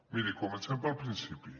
miri comencem pel principi